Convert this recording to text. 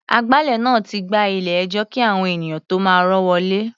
Agbálẹ̀ náà ti gbá ilé-ẹjọ́ kí àwọn ènìyàn tó máa rọ́ wọlé.